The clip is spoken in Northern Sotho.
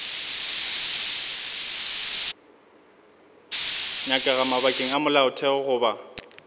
nyakega mabakeng a molaotheo goba